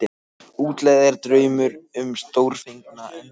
Útlegð er draumur um stórfenglega endurkomu.